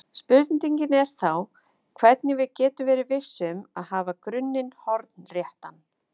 Spurningin er þá hvernig við getum verið viss um að hafa grunninn hornréttan.